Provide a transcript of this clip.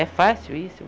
É fácil isso?